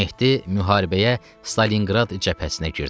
Mehdi müharibəyə Stalinqrad cəbhəsinə girdi.